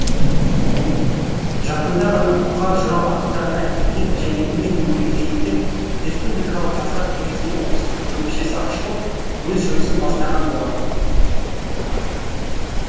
жақында ғана бұқар жырау атындағы әдебиет және өнер музейінде республикалық жастар кеңесінің облыстық бөлімшесі ашылып өз жұмысын бастаған болатын